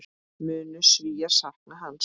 Munu Svíar sakna hans?